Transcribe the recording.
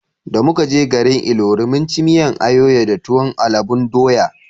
Da muka je garin Ilori mun ci miyan ayoyo da tuwon alubon doya